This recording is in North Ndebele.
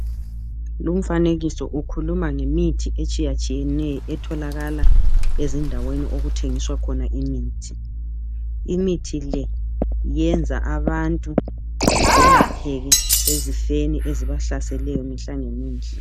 lumfanekiso ukhuluma ngemithi etshiyatshiyeneyo etholakala ezindaweni okuthengiswa khona imithi imithi le iyenza abantu belapheke ezifweni ezibahlaseleyo mihla ngemihla